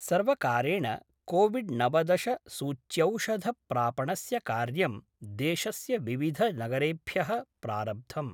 सर्वकारेण कोविड्नवदश सूच्यौषध प्रापणस्य कार्यं देशस्य विविध नगरेभ्यः प्रारब्धम्।